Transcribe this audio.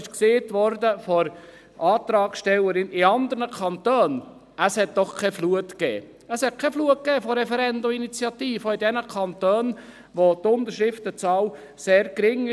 Von der Antragstellerin ist gesagt worden, dass es in anderen Kantonen keine Flut an Referenden und Initiativen gab, auch nicht in jenen Kantonen, die eine sehr geringe Unterschriftenzahl haben.